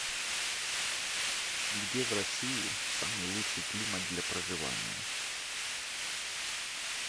где в россии самый лучший климат для проживания